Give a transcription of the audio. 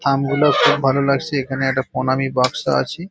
থামগুলো খুব ভালো লাগছে এখানে একটা প্রণামী বাক্স আছে।